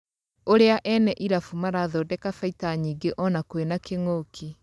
ũrĩa ene irabu marathondeka baita nyingĩ ona kwĩna kĩng'ũki.